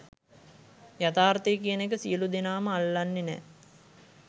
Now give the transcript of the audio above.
යථාර්ථය කියන එක සියලූ දෙනාම අල්ලන්නේ නෑ.